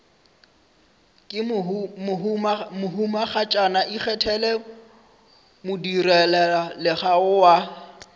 ke mohumagatšana ikgethele modirelaleago wa